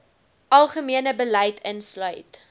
algemene beleid insluit